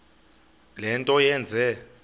le nto yenze